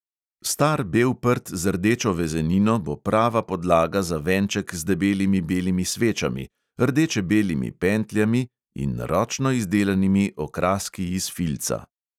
Star bel prt z rdečo vezenino bo prava podlaga za venček z debelimi belimi svečami, rdeče-belimi pentljami in ročno izdelanimi okraski iz filca.